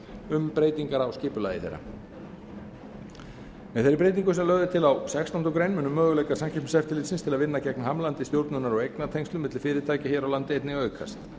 um breytingar á skipulagi þeirra með þeirri breytingu sem lögð er til á sextándu grein munu möguleikar samkeppniseftirlitsins til að vinna gegn hamlandi stjórnunar og eignatengslum milli fyrirtækja hér á landi einnig aukast